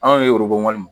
Anw ye min